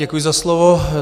Děkuji za slovo.